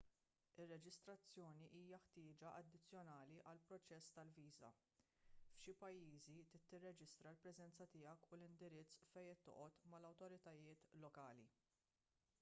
ir-reġistrazzjoni hija ħtieġa addizzjonali għall-proċess tal-viża f'xi pajjiżi trid tirreġistra l-preżenza tiegħek u l-indirizz fejn qed toqgħod mal-awtoritajiet lokali